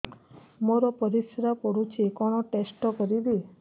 ମୋର ପରିସ୍ରା ପୋଡୁଛି କଣ ଟେଷ୍ଟ କରିବି